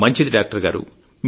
మంచిది డాక్టర్ గారు